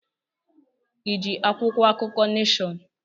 Iji akwụkwọ akụkọ Neshọn?